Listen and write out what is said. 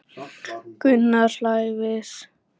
Gunnar hlær við.